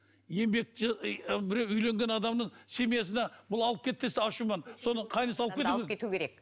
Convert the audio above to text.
еңбек біреу үйленген адамның семьясына бұл алып кет десе ашумен соны қайынысы алып кету керек алып кету керек